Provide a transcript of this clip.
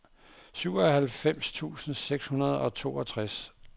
syvoghalvfems tusind seks hundrede og toogtres